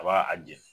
A b'a a jɛni